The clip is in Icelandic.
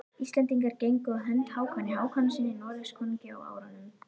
Íslendingar gengu á hönd Hákoni Hákonarsyni Noregskonungi á árunum